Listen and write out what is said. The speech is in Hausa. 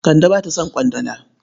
Kande ba ta son ƙwandala.